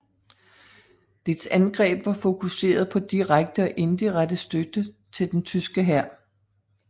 Dets angreb var fokuseret på direkte og indirekte støtte til den tyske hær